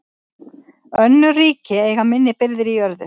Önnur ríki eiga minni birgðir í jörðu.